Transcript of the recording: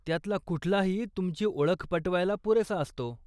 त्यातला कुठलाही तुमची ओळख पटवायला पुरेसा असतो.